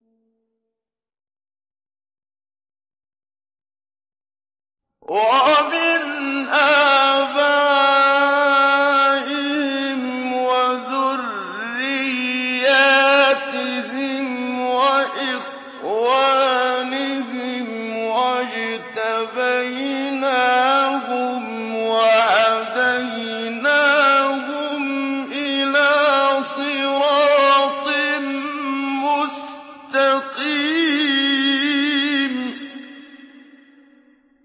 وَمِنْ آبَائِهِمْ وَذُرِّيَّاتِهِمْ وَإِخْوَانِهِمْ ۖ وَاجْتَبَيْنَاهُمْ وَهَدَيْنَاهُمْ إِلَىٰ صِرَاطٍ مُّسْتَقِيمٍ